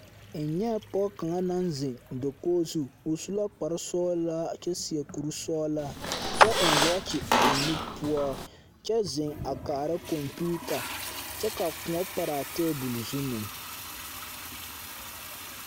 N nyԑ la pͻge kaŋa naŋ zeŋe dakogi zu, o su la kpare sͻgelaa kyԑ seԑ kuri sͻgelaa, kyԑ eŋ wͻͻkye a o nu poͻ, kyԑ zeŋe a kaara kͻmpiita kyԑ ka kõͻ pare a teebole zu meŋ.